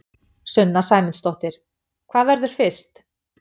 Sunna Sæmundsdóttir: Hvað verður fyrst?